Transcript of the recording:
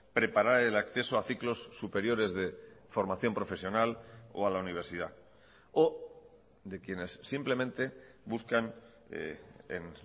preparar el acceso a ciclos superiores de formación profesional o a la universidad o de quienes simplemente buscan en